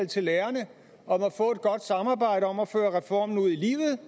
til lærerne om at få et godt samarbejde om at føre reformen ud i livet